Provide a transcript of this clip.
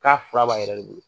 K'a fura b'a yɛrɛ de bolo.